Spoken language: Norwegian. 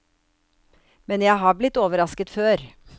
Men jeg har blitt overrasket før.